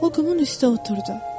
O qumun üstə oturdu.